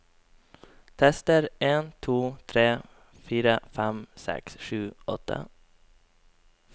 Tester en to tre fire fem seks sju åtte